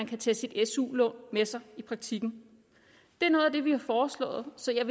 kan tage sit su lån med sig i praktikken det er noget af det vi har foreslået så jeg